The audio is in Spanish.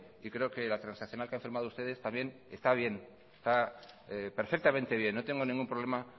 y creo que la transaccional que han firmado ustedes también está bien está perfectamente bien no tengo ningún problema